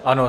Ano.